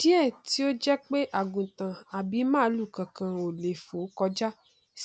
díè tí ó jẹ pé àgùntàn àbí màlúù kankan ò lè fòó kọjá